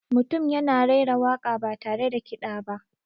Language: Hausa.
Mutum yana raira waka ba tare da kiɗa ba.